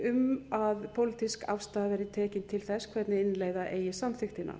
um að pólitísk afstaða verði tekin til þess hvernig innleiða eigi samþykktina